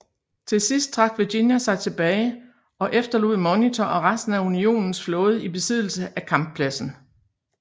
Til sidst trak Virginia sig tilbage og efterlod Monitor og resten af Unionens flåde i besiddelse af kamppladsen